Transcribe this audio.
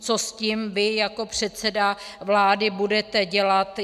Co s tím vy jako předseda vlády budete dělat?